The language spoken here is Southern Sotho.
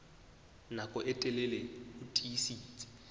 nako e telele ho tiisitse